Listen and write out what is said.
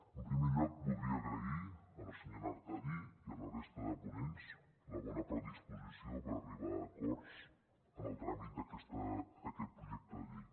en primer lloc voldria agrair a la senyora artadi i a la resta de ponents la bona predisposició per arribar a acords en el tràmit d’aquest projecte de llei